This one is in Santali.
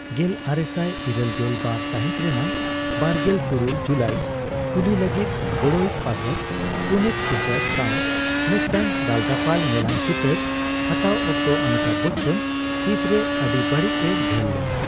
ᱜᱮᱞᱟᱨᱮᱥᱟᱭ ᱤᱨᱟᱹᱞᱜᱮᱞ ᱵᱟᱨ ᱥᱟᱦᱤᱛ ᱨᱮᱱᱟᱜ ᱵᱟᱨᱜᱮᱞ ᱛᱩᱨᱩᱭ ᱡᱩᱞᱟᱭ 'ᱠᱩᱞᱤ' ᱞᱟᱹᱜᱤᱫ ᱜᱚᱲᱚᱭᱤᱡᱽ ᱯᱟᱴᱷᱚᱠ ᱯᱩᱱᱤᱛ ᱤᱥᱟᱨ ᱥᱟᱣ ᱢᱤᱫᱴᱟᱝ ᱫᱟᱞᱫᱟᱯᱟᱞ ᱧᱮᱞᱟᱱ ᱪᱤᱛᱟᱹᱨ ᱦᱟᱛᱟᱣ ᱚᱠᱛᱚ ᱚᱢᱤᱛᱟᱵᱷ ᱵᱚᱪᱪᱚᱱᱟᱜ ᱯᱤᱛ ᱨᱮ ᱟᱹᱰᱤ ᱵᱟᱹᱲᱤᱡ ᱮ ᱜᱷᱟᱹᱞ ᱞᱮᱱᱟ ᱾